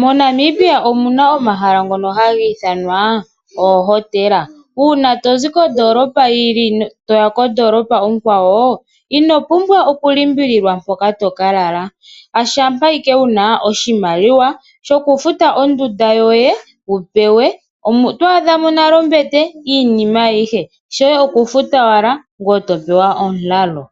MoNamibia omuna omahala gono hangithanwa oohotela, una tozi kondolopa yili toya kondolopa okwawo inopumbwa oku limbililwa poka tokalala shapa Ike wuna oshimaliwa shoku futa ondunda yoye wupewe, otwadhamo nale ombete iinima ayihe shoye okufuta owala ngweye oto pewa omulalo